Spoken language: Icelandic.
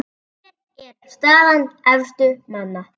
Hér er staða efstu manna